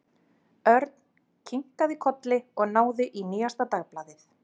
Örn kinkaði kolli og náði í nýjasta dagblaðið.